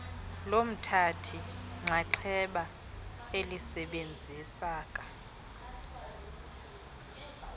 lomthathi nxxaxheba elisebenziseka